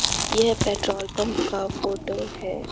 यह petrol pump का photo है।